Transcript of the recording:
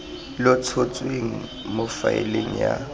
lo tshotsweng mo faeleng ya